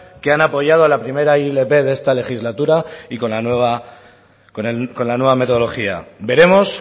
que han apoyado la primera ilp de esta legislatura y con la nueva metodología veremos